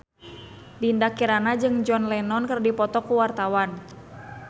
Dinda Kirana jeung John Lennon keur dipoto ku wartawan